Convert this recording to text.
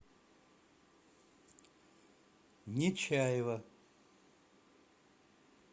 нечаева